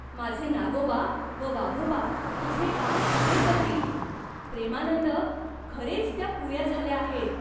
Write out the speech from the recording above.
माझे नागोबा व वाघोबा तुझे काम पुरे करतील.'प्रेमानंद, खरेच त्या पुऱ्या झाल्या आहेत.